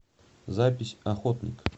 запись охотник